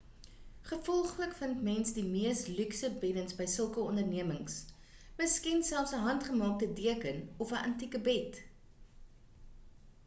gevolglik vind mens die mees luukse beddens by sulke ondernemings miskien selfs 'n handgemaakte deken of 'n antieke bed